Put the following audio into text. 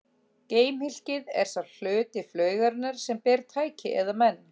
Geimhylkið er sá hluti flaugarinnar sem ber tæki eða menn.